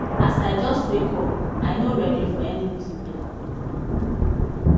as i jus wake up i nor readi for any visitor